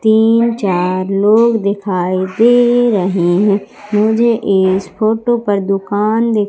तीन चार लोग दिखाई दे रहे हैं मुझे इस फोटो पर दुकान दि--